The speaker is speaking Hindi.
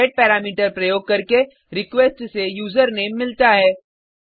हमें गेटपैरामीटर प्रयोग करके रिक्वेस्ट से यूजरनेम मिलता है